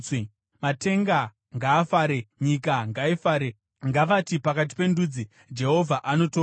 Matenga ngaafare, nyika ngaifare; ngavati pakati pendudzi, “Jehovha anotonga!”